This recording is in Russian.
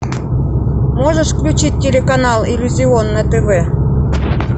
можешь включить телеканал иллюзион на тв